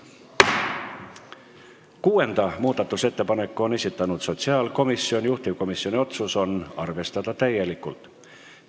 Kuuenda muudatusettepaneku on esitanud sotsiaalkomisjon, juhtivkomisjoni otsus: arvestada täielikult.